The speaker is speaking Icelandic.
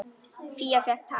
Fía fékk tak.